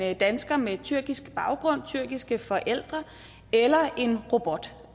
af en dansker med tyrkisk baggrund tyrkiske forældre eller af en robot